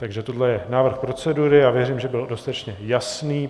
Takže tohle je návrh procedury a věřím, že byl dostatečně jasný.